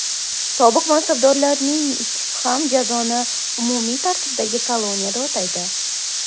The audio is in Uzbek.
Sobiq mansabdorlarning ikkisi ham jazoni umumiy tartibdagi koloniyada o‘taydi.